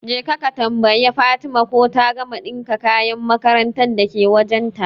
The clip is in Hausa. Jeka ka tambayi Fatima ko ta gama ɗinka kayan makarantar dake wajen ta